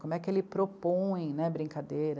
Como é que ele propõe, né, a brincadeira?